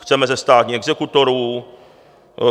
Chceme zestátnění exekutorů.